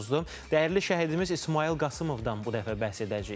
Dəyərli şəhidimiz İsmayıl Qasımovdan bu dəfə bəhs edəcəyik.